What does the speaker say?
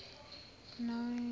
binoni